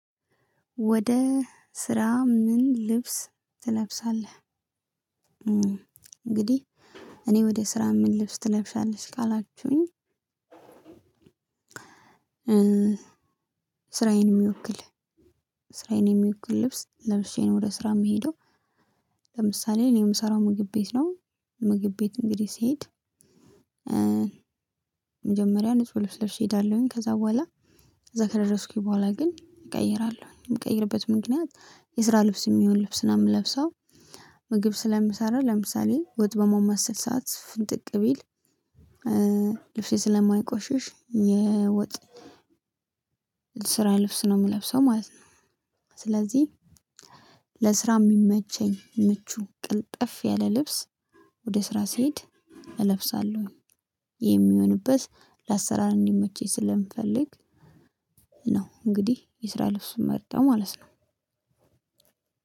ወደ ስራ ምን ልብስ ትለብሳለህ? እንግዲህ እኔ ወደ ስራ ምን ልብስ ትለብሻለሽ ካላችሁኝ ስራዬን የሚወክል ስራዬን የሚወክል ልብስ ለብሼ ነው ወደ ስራ የምሄደው። ለምሳሌ እኔ የምሰራው ምግብ ቤት ነው። ምግብ ቤት እንግዲህ ስሄድ። መጀመሪያ ንጹህ ልብስ ለብሼ እሄዳለሁኝ ከዛ በኋላ እዛ ከደረስኩኝ በኋላ ግን እቀይራለሁኝ የምቀይርበት ምክንያት የስራ ልብስ የሚሆን ልብስ ነው የምለብሰው። ምግብ ስለምሰራ ለምሳሌ ወጥ በመማመስል ሰዓት ፍንጥቅ ቢል ልብሴ ስለማይቆሽሽ የወጥ ስራ ልብስ ነው የምለብሰው ማለት ነው። ስለዚህ ለስራ የሚመቸኝ ምቹ ቅልጥፍ ያለ ልብስ ወደ ስራ ስሄድ እለብሳለሁኝ። ይህ የሚሆንበት ለአሰራር እንዲመቸኝ ስለምፈልግ ነው። እንግዲህ የስራ ልብስ እምመርጠው ማለት ነው።